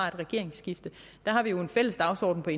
regeringsskifte der har vi jo en fælles dagsorden med